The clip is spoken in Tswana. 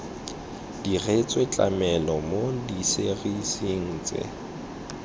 diretswe tlamelo mo diserising tse